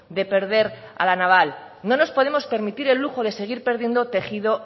de perder a la naval no nos podemos permitir el lujo de seguir perdiendo tejido